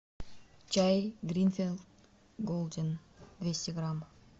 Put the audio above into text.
чай гринфилд голден двести грамм